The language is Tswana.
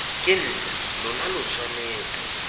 ke nna lona lo tshwanetse